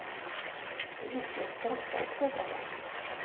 Det gick ju att skratta åt gubbarna.